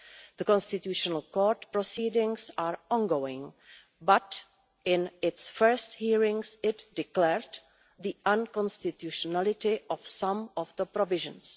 The Constitutional Court proceedings are ongoing but, in its first hearings, it declared the unconstitutionality of some of the provisions.